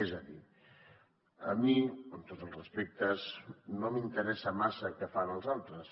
és a dir a mi amb tots els respectes no m’interessa massa què fan els altres